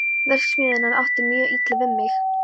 Verksmiðjuvinnan átti mjög illa við mig.